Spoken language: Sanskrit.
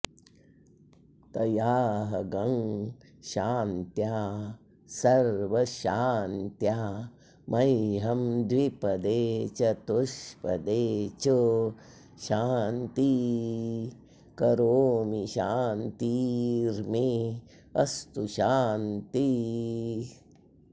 तया॒हग्ं शा॒न्त्या स॑र्वशा॒न्त्या मह्यं॑ द्वि॒पदे॒ चतु॑ष्पदे च॒ शान्तिं॑ करोमि शान्ति॑र्मे अस्तु॒ शान्तिः॑